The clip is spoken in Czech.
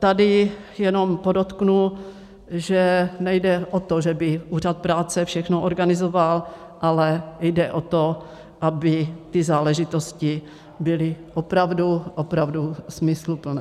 Tady jenom podotknu, že nejde o to, že by úřad práce všechno organizoval, ale jde o to, aby ty záležitosti byly opravdu, opravdu smysluplné.